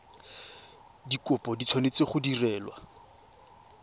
dikopo di tshwanetse go direlwa